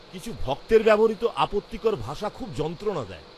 কিছু ভক্তের ব্যবহৃত আপত্তিকর ভাষা খুব যন্ত্রণা দেয়।